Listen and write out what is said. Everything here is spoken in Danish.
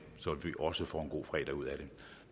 så vi også får en god fredag ud af det